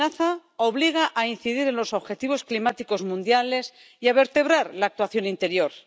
esta amenaza obliga a incidir en los objetivos climáticos mundiales y a vertebrar la actuación interior.